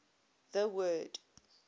the word